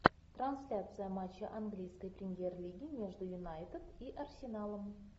трансляция матча английской премьер лиги между юнайтед и арсеналом